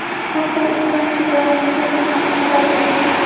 Bu haqda instansiya bayonotiga asoslanib xabar berilgan.